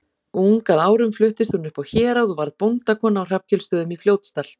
Ung að árum fluttist hún upp á Hérað og varð bóndakona á Hrafnkelsstöðum í Fljótsdal.